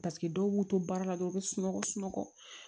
Paseke dɔw b'u to baara la dɔrɔn u be sunɔgɔ sunɔgɔ